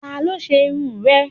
Ta ló ṣe irun rẹ̀?